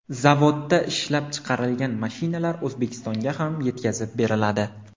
Zavodda ishlab chiqarilgan mashinalar O‘zbekistonga ham yetkazib beriladi.